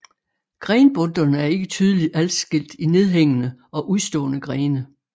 Grenbundterne er ikke tydeligt adskilt i nedhængende og udstående grene